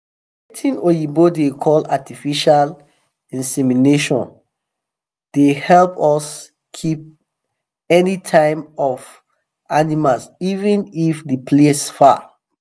watin oyibo da call artificial insemination the help us keep any time of animas even if the place far